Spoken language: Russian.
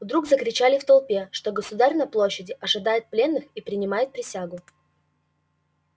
вдруг закричали в толпе что государь на площади ожидает пленных и принимает присягу